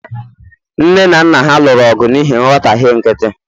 nne na nna ha lụrụ ọgụ n'ihi nghọtahie nkịtị